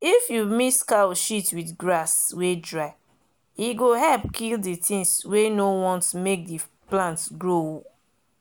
if you mix cow shit with grass wey dry e go help kill the things wey no want make the plant bin grow